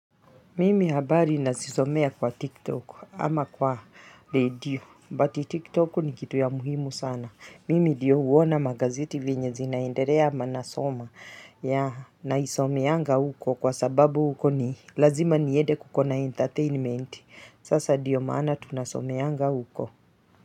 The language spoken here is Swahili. Mimi habari nazisomea kwa TikTok ama kwa redio, buti TikTok ni kitu ya muhimu sana. Mimi diyo huona magazeti venye zinaenderea na nasoma naisomeanga uko kwa sababu uko ni lazima niede kukona entertainment. Sasa diyo maana tunasomeanga uko.